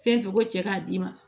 Fɛn fɛn ko cɛ k'a d'i ma